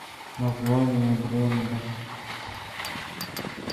название бренда